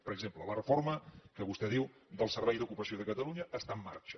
per exemple la reforma que vostè diu del servei d’ocupació de catalunya està en marxa